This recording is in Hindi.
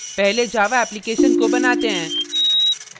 पहले java application को बनाते हैं